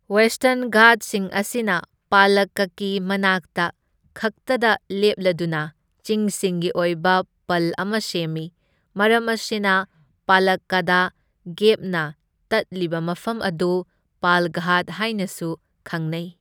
Western ꯘꯥꯠꯁꯤꯡ ꯑꯁꯤꯅ ꯄꯥꯂꯛꯀꯀꯤ ꯃꯅꯥꯛꯇ ꯈꯛꯇꯗ ꯂꯦꯞꯂꯗꯨꯅ ꯆꯤꯡꯁꯤꯡꯒꯤ ꯑꯣꯏꯕ ꯄꯜ ꯑꯃ ꯁꯦꯝꯃꯤ, ꯃꯔꯝ ꯑꯁꯤꯅ ꯄꯥꯂꯛꯀꯗ ꯒꯦꯞꯅ ꯇꯠꯂꯤꯕ ꯃꯐꯝ ꯑꯗꯨ ꯄꯥꯜꯘꯥꯠ ꯍꯥꯏꯅꯁꯨ ꯈꯪꯅꯩ꯫